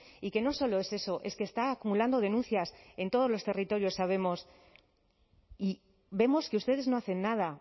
y que no solo es eso es que está acumulando denuncias en todos los territorios sabemos y vemos que ustedes no hacen nada